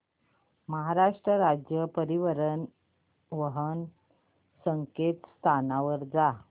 महाराष्ट्र राज्य परिवहन च्या संकेतस्थळावर जा